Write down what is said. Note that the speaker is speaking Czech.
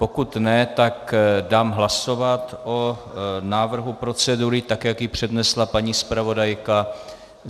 Pokud ne, tak dám hlasovat o návrhu procedury, tak jak ji přednesla paní zpravodajka.